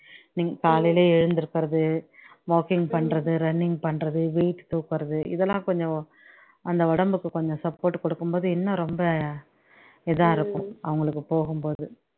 நீங்க காலையில எழுந்திரிக்கிறது walking பண்றது, running பண்றது, weight தூக்குறது இதெல்லாம் கொஞ்சம் அந்த உடம்புக்கு கொஞ்சம் support கொடுக்கும்போது இன்னும் ரொம்ப இதா இருக்கும் அவங்களுக்கு போகும்போது